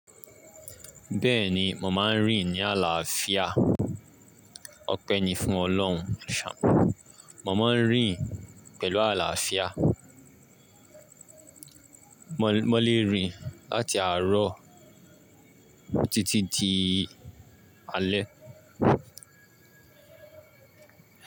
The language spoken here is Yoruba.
Bẹ́ẹ̀ni, mò ma ń rìn ní àlàáfíà. Ọpẹ́ ni fún Ọlọ́run. Mò má ń rìn pẹ̀lú àlàáfíà. Mo lè rìn láti àárọ̀ títí di alẹ́.